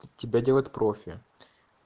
тебя делает профи